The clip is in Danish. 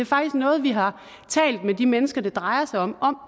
faktisk noget vi har talt med de mennesker det drejer sig om om